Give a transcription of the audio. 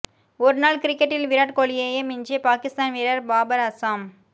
ஒருநாள் கிரிக்கெட்டில் விராட் கோலியையே மிஞ்சிய பாகிஸ்தான் வீரர் பாபர் அசாம்